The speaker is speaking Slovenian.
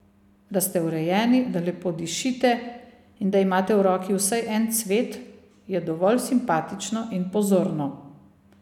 Da ste urejeni, da lepo dišite in da imate v roki vsaj en cvet, je dovolj simpatično in pozorno.